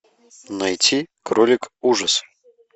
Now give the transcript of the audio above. найти кролик ужас